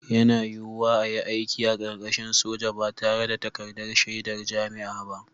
Yana yiwuwa a yi aiki a ƙarƙashin soja ba tare da takardar shaidar jami'a ba